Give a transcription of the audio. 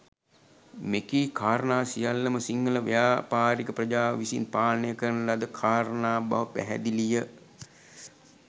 මෙකී කාරණා සියල්ලම සිංහල ව්‍යාපාරික ප්‍රජාව විසින් පාලනය කරන ලද කාරණා බව පැහැදිලි ය.